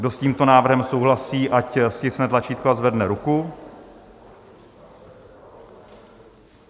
Kdo s tímto návrhem souhlasí, ať stiskne tlačítko a zvedne ruku.